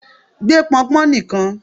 gbé pọnpọn nìkan!